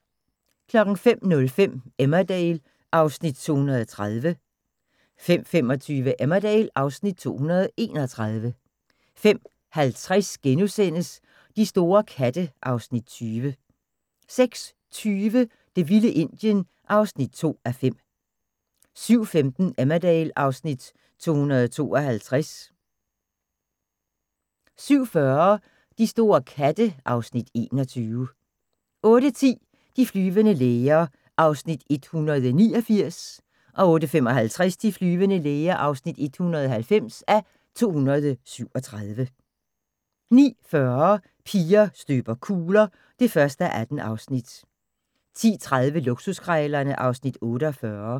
05:05: Emmerdale (Afs. 230) 05:25: Emmerdale (Afs. 231) 05:50: De store katte (Afs. 20)* 06:20: Det vilde Indien (2:5) 07:15: Emmerdale (Afs. 252) 07:40: De store katte (Afs. 21) 08:10: De flyvende læger (189:237) 08:55: De flyvende læger (190:237) 09:40: Piger støber kugler (1:18) 10:30: Luksuskrejlerne (Afs. 48)